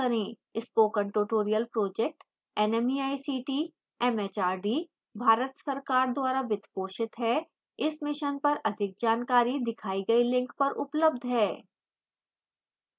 spoken tutorial project nmeict mhrd Bharat सरकार द्वारा वित्त पोषित है इस mission पर अधिक जानकारी दिखाई गई link पर उपलब्ध है